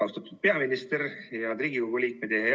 Austatud peaminister ja Riigikogu liikmed!